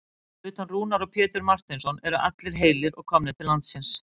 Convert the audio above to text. Fyrir utan Rúnar og Pétur Marteinsson eru allir heilir og komnir til landsins?